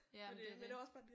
Ja men det er det